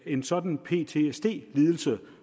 en sådan ptsd lidelse